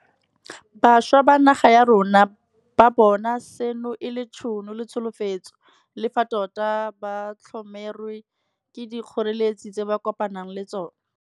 Bašwa ba naga ya rona ba bona seno e le tšhono le tsholofetso, le fa tota ba tlhomerwe ke dikgoreletsi tse ba kopanang le tsona.